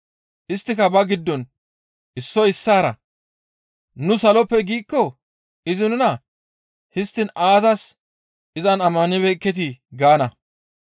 Isttika ba giddon issoy issaara, «Nu saloppe giikko izi nuna, ‹Histtiin aazas iza ammanibeekketii?› gaana;